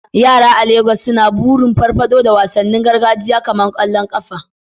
Yara a Legas suna burin farfado da wasannin gargajiya kamar kwallon kafa.